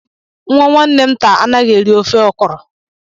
Nwa nwanne m nta anaghi eri ofe okro.